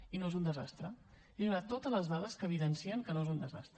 i no és un desastre he donat totes les dades que evidencien que no és un desastre